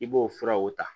I b'o furaw ta